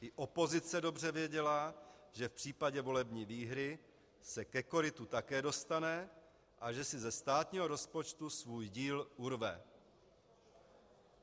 I opozice dobře věděla, že v případě volební výhry se ke korytu také dostane a že si ze státního rozpočtu svůj díl urve.